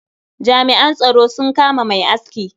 Jami'an tsaro sun kama mai aski.